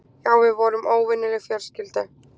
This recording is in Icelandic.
Já, við vorum óvenjuleg fjölskylda.